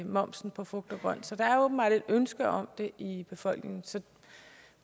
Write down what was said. momsen på frugt og grønt der er åbenbart et ønske om det i befolkningen så